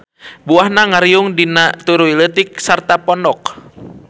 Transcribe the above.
Buahna ngariung dina turuy leutik sarta pondok.